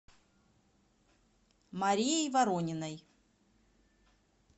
марией ворониной